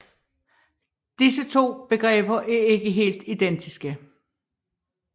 Disse to begreber er ikke helt identiske